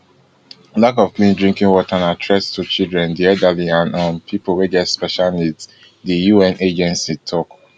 lack of clean drinking water na threat to children di elderly and um pipo wey get special needs di un agency tok